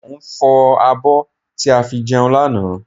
Mo ń fọ abọ́ tí a fi jẹun lánàá